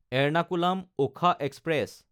এৰনাকুলাম–ওখা express